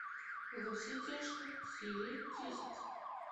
во все тяжкие серия десять